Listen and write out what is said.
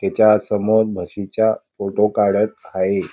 तेच्या समोर म्हशीचा फोटो काढत आहे.